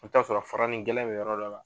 I bi t'a sɔrɔ fara ni gɛlɛn be yɔrɔ dɔ la